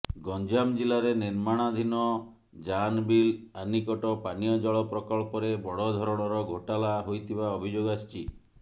ଗଞ୍ଜାମ ଜିଲ୍ଲାରେ ନିର୍ମାଣାଧିନ ଜାନବିଲି ଆନିକଟ ପାନୀୟ ଜଳ ପ୍ରକଳ୍ପରେ ବଡ଼ଧରଣର ଘୋଟାଲା ହୋଇଥିବା ଅଭିଯୋଗ ଆସିଛି